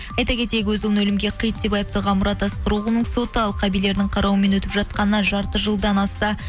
айта кетейік өз ұлын өлімге қиды деп айыпталған мұрат асқароғылының соты алқа билерінің қарауымен өтіп жатқанына жарты жылдын асты